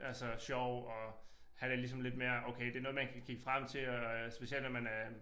Altså sjov og have det ligesom lidt mere okay det noget man kan kigge frem til og øh specielt når man øh